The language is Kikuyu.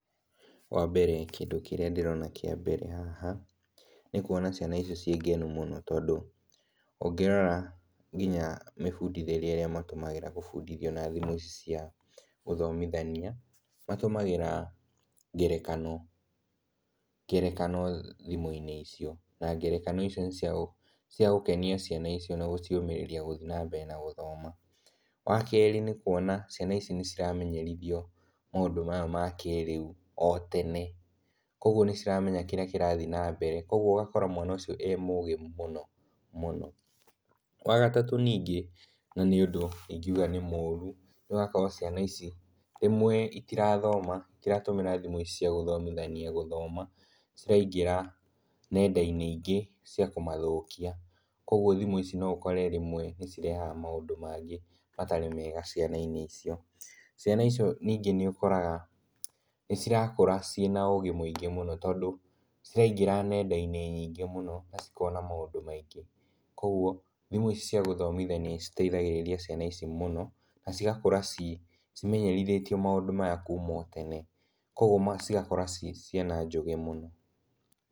Wa mbere kĩndũ kĩrĩa ndĩrona kĩa mbere haha, nĩ kuona ciana icio ciĩ ngenu mũno tondũ ũngĩrora ngina mĩbundithĩrie ĩrĩa matũmagĩra gũbundithio na thimũ cia gũthomithania, matũmagĩra ngerekano thimũ-inĩ icio na ngerekano icio nĩ cia gũkenia ciana icio na gũciũmĩrĩria gũthiĩ na mbere gũthoma. Wa kerĩ, nĩ kuona ciana ici nĩ ciramenyerithio maũndũ maya ma kĩrĩu o tene, koguo nĩ ciramenya kĩrĩa kĩrathiĩ na mbere, koguo ũgakora mwana ũcio e mũgĩ mũno mũno. Wa gatatũ ningĩ, na nĩ ũndũ ingiuga nĩ mũru, nĩ ũrakora ciana ici rĩmwe itirathoma, itiratũmĩra thimũ ici cia gũthomithania gũthoma, ciraingĩra nenda-inĩ ingĩ cia kũmathũkia, koguo thimũ ici no ũkore rĩmwe nĩ cirehaga maũndũ mangĩ matarĩ mega ciana-inĩ icio. Ciana icio ningĩ nĩ ũkoraga nĩ cirakũra cirĩ na ũgĩ mũingĩ mũno, tondũ ciraingĩra nenda-inĩ nyingĩ mũno na cikona maũndũ maingĩ. Koguo thimũ icia gũthomithania nĩ citeithagĩrĩria ciana ici mũno na cigakũra cimenyerithĩtio maũndũ maya kuma o tene, koguo cigakũra ci ciana njũgĩ mũno.